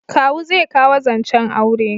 Kawu zai kawo zancen aure